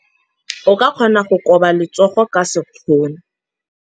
O ka kgona go koba letsogo ka sekgono.